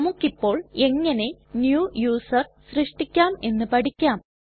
നമുക്കിപ്പോൾ എങ്ങനെ new user സൃഷ്ടിക്കാം എന്ന് പഠിക്കാം